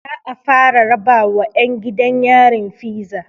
Za'a fara rabawa ƴan gidan yarin fiza